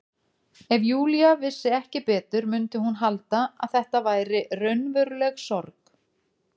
Ef Júlía vissi ekki betur mundi hún halda að þetta væri raunveruleg sorg.